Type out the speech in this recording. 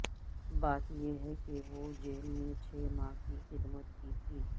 بات یہ ہے کہ وہ جیل میں چھ ماہ کی خدمت کی تھی